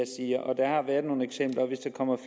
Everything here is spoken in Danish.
siger og der har været nogle eksempler hvis der kommer